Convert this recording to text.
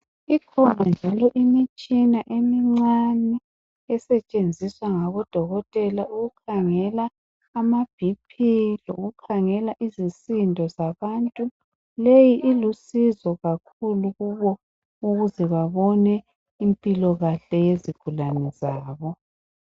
Ikhona njalo imitshina emincani esetshenziswa ngabodokotela ukukhangela ama bhiphi lokukhangela izisindo zabantu leyi ilusizo kakhulu kubo ukuze babone impilo kahle yezigulane zabo